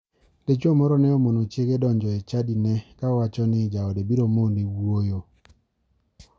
Dichuo moro ne omono chiege donjo e chadine ka owacho ni jaode biro mone wuoyo.